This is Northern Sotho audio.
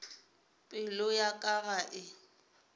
pelo ya ka ga e